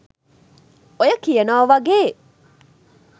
ඔය කියනව වගේ